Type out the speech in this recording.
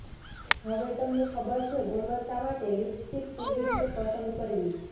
હવે તમને ખબર છે ગુણવત્તા માટે લિપસ્ટિક કેવી રીતે પસંદ કરવી